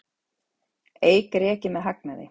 Eik rekið með hagnaði